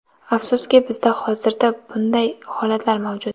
Afsuski, bizda hozirda bunday holatlar mavjud.